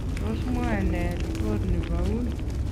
Tos mwae nee ripot nebo Un?